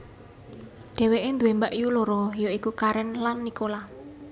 Dheweke duwé mbakyu loro ya iku Karen lan Nicola